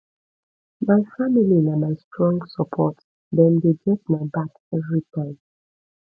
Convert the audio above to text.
my family na my strong support dem dey get my back everytime